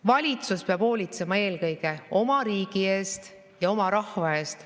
Valitsus peab hoolitsema eelkõige oma riigi eest ja oma rahva eest.